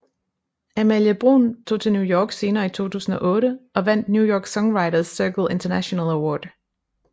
Amalie Bruun tog til New York senere i 2008 og vandt New York songwriters circle international award